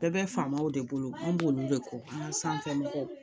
Bɛɛ bɛ faamaw de bolo , mun b'olu de kɔ an ka sanfɛ mɔgɔw